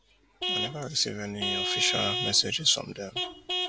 i neva receive any official messages from dem